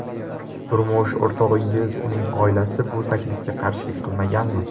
Turmush o‘rtog‘ingiz, uning oilasi bu taklifga qarshilik qilmaganmi?